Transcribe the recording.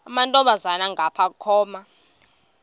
amantombazana ngapha koma